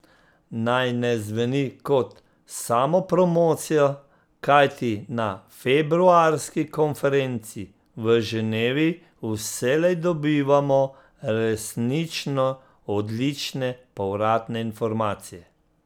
Naj ne zveni kot samopromocija, kajti na februarski konferenci v Ženevi vselej dobivamo resnično odlične povratne informacije.